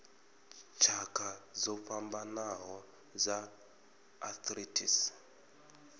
tshakha dzo fhambanaho dza arthritis